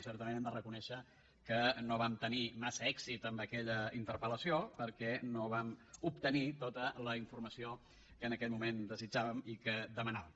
certament hem de reconèixer que no vam tenir massa èxit amb aquella interpel·lació perquè no vam obtenir tota la informació que en aquell moment desitjàvem i demanàvem